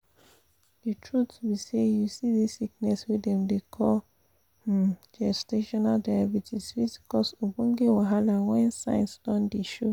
the truth be say you see this sickness wey dem dey call um gestational diabetes fit cause ogboge wahala when signs don dey show